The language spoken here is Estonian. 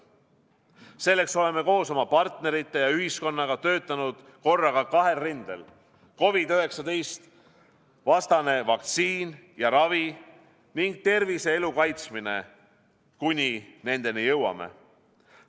Selleks oleme koos oma partnerite ja ühiskonnaga töötanud korraga kahel rindel: COVID-19-vastane vaktsiin ja ravi ning tervise ja elu kaitsmine, kuni nendeni jõuame.